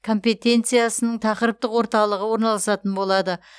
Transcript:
компетенциясының тақырыптық орталығы орналасатын болады